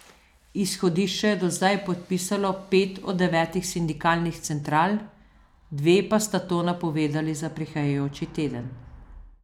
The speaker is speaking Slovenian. Izhodišča je do zdaj podpisalo pet od devetih sindikalnih central, dve pa sta to napovedali za prihajajoči teden.